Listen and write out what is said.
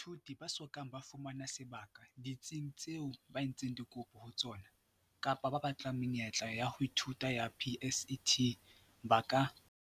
Baithuti ba so kang ba fumana sebaka ditsing tseo ba entseng dikopo ho tsona, kapa ba batlang menyetla ya ho ithuta ya PSET, ba ka.